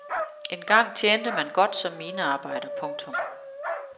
Engang tjente man godt som minearbejder. punktum